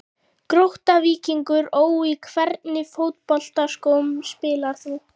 Grótta-Víkingur Ó Í hvernig fótboltaskóm spilar þú?